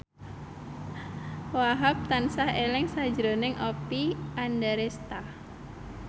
Wahhab tansah eling sakjroning Oppie Andaresta